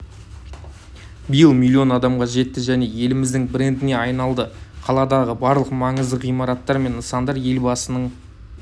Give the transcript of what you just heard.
биыл миллион адамға жетті және еліміздің брендіне айналды қаладағы барлық маңызды ғимараттар мен нысандар елбасының